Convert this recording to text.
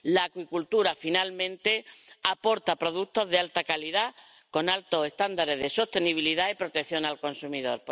La acuicultura, finalmente, aporta productos de alta calidad, con altos estándares de sostenibilidad y protección al consumidor.